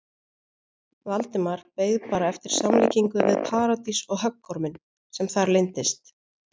Valdimar beið bara eftir samlíkingu við Paradís og höggorminn sem þar leyndist.